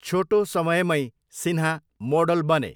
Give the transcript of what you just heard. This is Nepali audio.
छोटो समयमै सिन्हा मोडल बने।